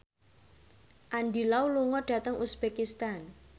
Andy Lau lunga dhateng uzbekistan